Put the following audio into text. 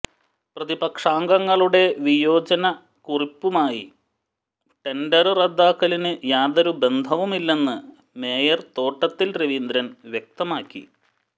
പ്രതിപക്ഷാംഗങ്ങളുടെ വിയോജനകുറിപ്പുമായി ടെന്ഡര് റദ്ദാക്കലിന് യാതൊരു ബന്ധവുമില്ലെന്ന് മേയര് തോട്ടത്തില് രവീന്ദ്രന് വ്യക്തമാക്കി